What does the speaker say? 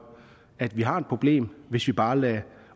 at vi har et problem hvis vi bare lader